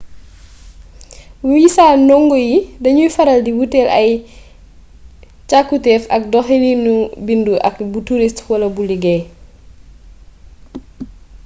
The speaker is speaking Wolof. wisa ndongo yi dañuy faral di wuuteel ay càkkutéef ak doxaliinu bindu ak bu turist wala bu liggéey